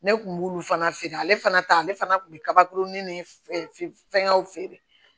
Ne kun b'olu fana feere ale fana ta ale fana kun bɛ kabakurunin ni f fɛngɛw feere